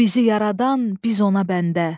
O bizi yaradan, biz ona bəndə.